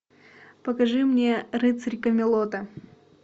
покажи мне рыцарь камелота